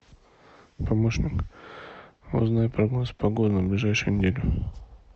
помощник узнай прогноз погоды на ближайшую неделю